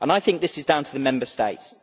I think this is down to the Member States.